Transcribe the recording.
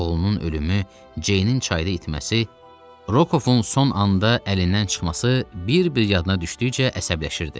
Oğlunun ölümü, Ceynin çayda itməsi, Rokovun son anda əlindən çıxması bir-bir yadına düşdükcə əsəbləşirdi.